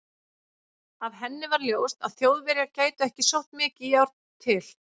Af henni var ljóst, að Þjóðverjar gætu ekki sótt mikið járn til